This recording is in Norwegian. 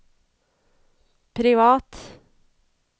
privat